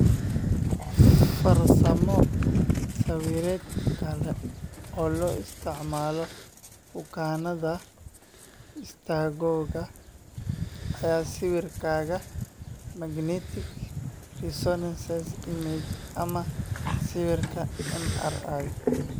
Farsamo sawireed kale oo loo isticmaalo bukaannada istaroogga ayaa ah sawirka magnetic resonance imaging ama sawirka MRI.